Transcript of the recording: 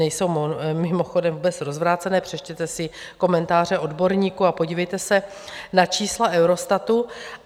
Nejsou mimochodem vůbec rozvrácené, přečtěte si komentáře odborníků a podívejte se na čísla Eurostatu.